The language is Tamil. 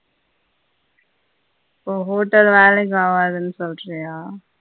ஓ hotel சொல்றியா